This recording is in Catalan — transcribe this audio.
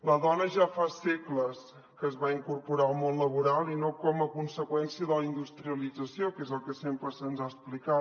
la dona ja fa segles que es va incorporar al món laboral i no com a conseqüèn·cia de la industrialització que és el que sempre se’ns ha explicat